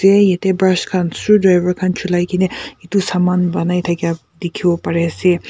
yate brush khan screw driver khan julaikena etu saman banai dakha dekhi ase.